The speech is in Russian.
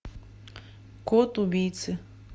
код убийцы